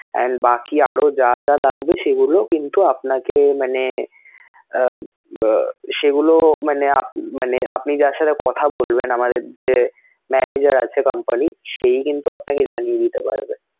and বাকি আরো যা যা লাগবে সেগুলো কিন্তু আপনাকে মানে আহ সেগুলো মানে মানে আপনি যার সাথে কথা বলবেন আমাদের যে manager আছে company র সেই কিন্তু আপনাকে জানিয়ে দিতে পারবে